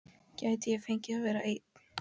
Gæti ég fengið að vera einn?